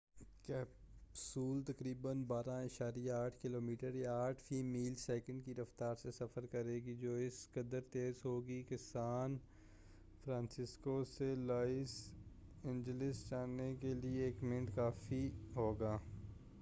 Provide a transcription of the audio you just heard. capsule تقریبا 12.8 kilometre یا 8 mile فی سیکنڈ کی رفتار سے سفر کرے گی جو اس قدر تیز ہوگی کہ سان فرانسسکو سے لاس اینجلس جانے کے لیے ایک منٹ کافی ہوگا